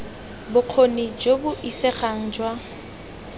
bokgoni jo bo isegang jwa